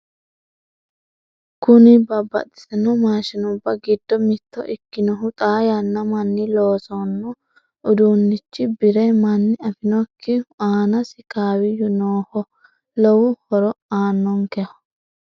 Kuni babbaxitino maashinubba giddo mitto ikkinohu xaa yaanna manni loosanno uduunichi bire manni afinokkihu aanasi kawiyyu noohu lowo horo asnonkeho.